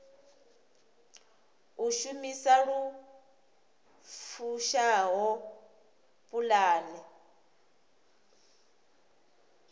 u shumisa lu fushaho pulane